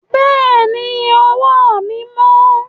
Bẹ́ẹ̀ ni, ọwọ́ mi mọ́.